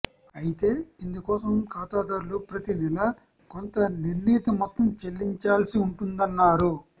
అయితే ఇందుకోసం ఖాతాదారులు ప్రతి నెలా కొంత నిర్ణీత మొత్తం చెల్లించాల్సి ఉంటుందన్నారు